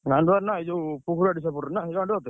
ଗାଣ୍ଡୁଆନା ଏଇ ଯୋଉ ?